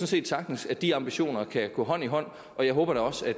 set sagtens at de ambitioner kan gå hånd i hånd og jeg håber da også at